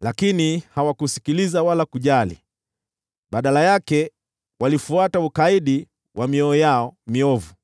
Lakini hawakusikiliza wala kujali. Badala yake, walifuata ukaidi wa mioyo yao miovu.